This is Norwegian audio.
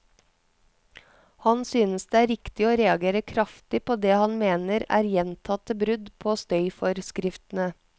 Han synes det er riktig å reagere kraftig på det han mener er gjentatte brudd på støyforskriftene.